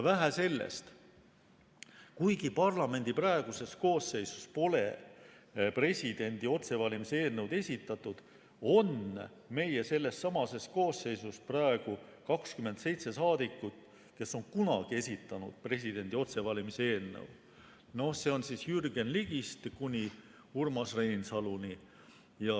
Vähe sellest, kuigi parlamendi praeguses koosseisus pole presidendi otsevalimise eelnõu esitatud, on meie sellessamas koosseisus praegu 27 saadikut, kes on kunagi esitanud presidendi otsevalimise eelnõu, Jürgen Ligist kuni Urmas Reinsaluni.